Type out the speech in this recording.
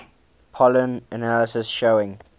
pollen analysis showing